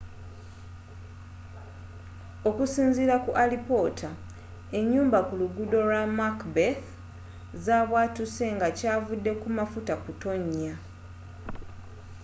okusinziira ku alipoota enyumba ku luguudo lwa macbeth zabwatuse nga kyavudde ku mafuta kutonya